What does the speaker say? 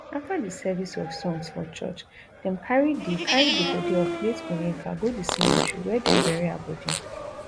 afta di service of songs for church dem carry di carry di bodi of late onyeka go di cemetery wia dem bury her bodi